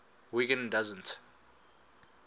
wiggin doesn t